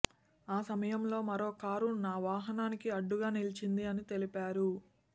ఆ సమయంలో మరో కారు నా వాహనానికి అడ్డుగా నిలిచింది అని తెలిపారు